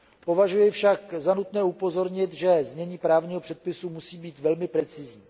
Považuji však za nutné upozornit, že znění právního předpisu musí být velmi precizní.